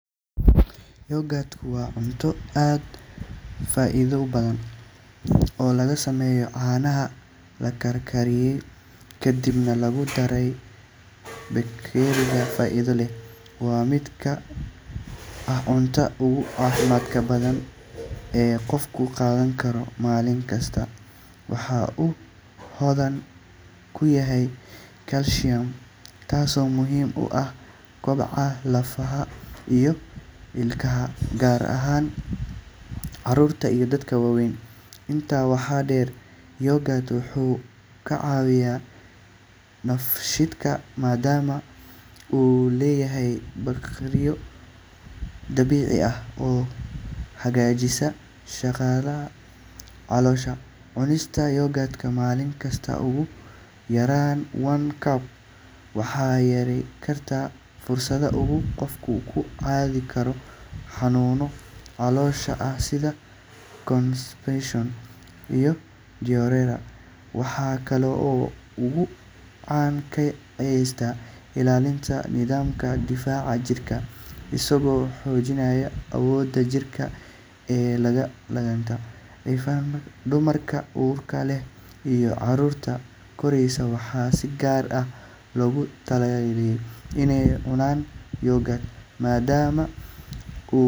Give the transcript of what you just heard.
Yoghurt waa cunto aad u faa’iido badan oo laga sameeyo caanaha la karkariyey kadibna lagu daray bakteeriya faa’iido leh. Waa mid ka mid ah cuntada ugu caafimaadka badan ee qofku qaadan karo maalin kasta. Waxa uu hodan ku yahay calcium, taasoo muhiim u ah koboca lafaha iyo ilkaha, gaar ahaan carruurta iyo dadka waaweyn. Intaa waxaa dheer, yoghurt wuxuu ka caawiyaa dheefshiidka maadaama uu leeyahay bakteeriyo dabiici ah oo hagaajisa shaqada caloosha. Cunista yoghurt maalin kasta, ugu yaraan one cup, waxay yarayn kartaa fursadda uu qofku ku qaadi karo xanuunno caloosha ah sida constipation iyo diarrhea. Waxa kale oo uu gacan ka geystaa ilaalinta nidaamka difaaca jirka, isagoo xoojinaya awoodda jirka ee la dagaallanka infekshannada. Dumarka uurka leh iyo carruurta koraysa waxaa si gaar ah loogu taliyaa inay cunaan yoghurt maadaama.